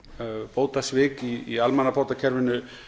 bótasvik í almenna bótakerfinu